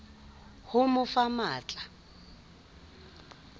ho mo fa matl a